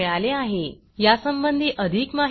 यासंबंधी अधिक माहिती पुढील लिंक वर उपलब्ध आहे